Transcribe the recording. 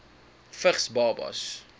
vigs babas